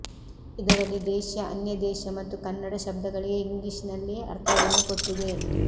ಇದರಲ್ಲಿ ದೇಶ್ಯ ಅನ್ಯದೇಶ್ಯ ಮತ್ತು ಕನ್ನಡ ಶಬ್ದಗಳಿಗೆ ಇಂಗ್ಲಿಶಿನಲ್ಲಿ ಅರ್ಥವನ್ನು ಕೊಟ್ಟಿದೆ